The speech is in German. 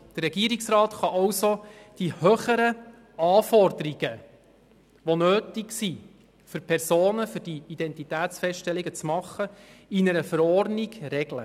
Der Regierungsrat kann also höhere Anforderungen für Personen, die Identitätsfeststellungen machen, in einer Verordnung regeln.